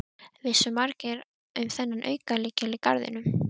Vissu margir um þennan aukalykil í garðinum?